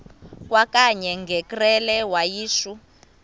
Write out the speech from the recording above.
kwakanye ngekrele wayishu